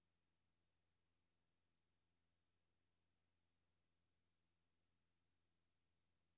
A L V O R S T U N G E